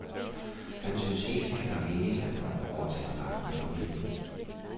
Han synes ikke, at det kan være meningen, at børnene overtager magten i familien.